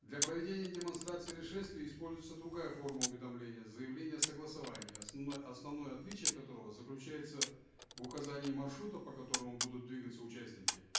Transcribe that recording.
для проведения демонстрации или шествий используется другая форма уведомления заявление о согласовании основное отличие которого заключается в указании маршрута по которому будут двигаться участники